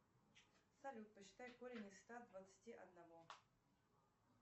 салют посчитай корень из ста двадцати одного